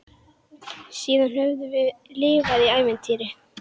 Síðan höfum við lifað í ævintýri.